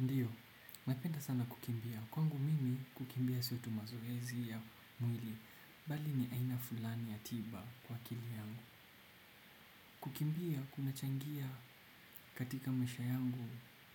Ndiyo, napenda sana kukimbia. Kwangu mimi kukimbia sio tu mazoezi ya mwili. Bali ni aina fulani ya tiba kwa akili yangu. Kukimbia kuna changia katika maisha yangu